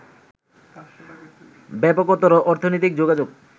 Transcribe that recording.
ব্যাপকতর অর্থনৈতিক যোগাযোগ